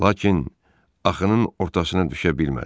Lakin axının ortasına düşə bilmədi.